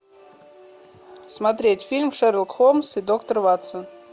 смотреть фильм шерлок холмс и доктор ватсон